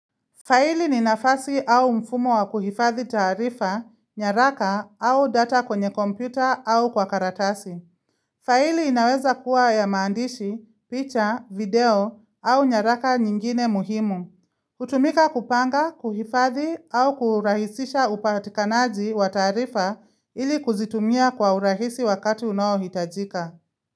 Faili ni nafasi au mfumo wa kuhifadhi tarifa, nyaraka au data kwenye kompyuta au kwa karatasi. Faili inaweza kuwa ya maandishi, picha, video au nyaraka nyingine muhimu. Hutumika kupanga, kuhifadhi au kurahisisha upatikanaji wa taarifa ili kuzitumia kwa urahisi wakati unohitajika.